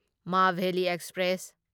Maveli express